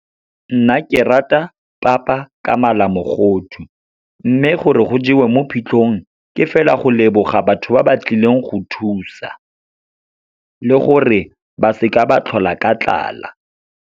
Nna ke rata papa ka malamogodu. Mme gore go jewe mo phitlhong, ke fela go leboga batho ba ba tlileng go thusa le gore ba seka ba tlhola ka tlala.